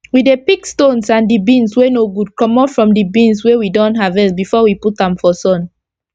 we dey pick stones and d beans wey no good comot from d beans wey we don harvest before we put am for sun